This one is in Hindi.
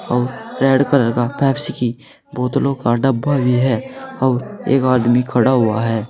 और रेड कलर का पेप्सी की बोतलों का डब्बा भी है और एक आदमी खड़ा हुआ है।